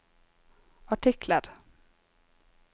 artikler